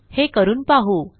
हे करून पाहू